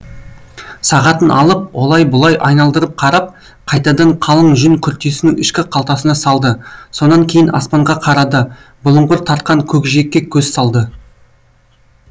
сағатын алып олай бұлай айналдырып қарап қайтадан қалың жүн күртесінің ішкі қалтасына салды сонан кейін аспанға қарады бұлыңғыр тартқан көкжиекке көз салды